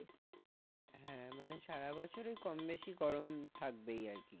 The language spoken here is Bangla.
হ্যাঁ মানে সারা বছরেই কম-বেশি গরম থাকবে আর কি।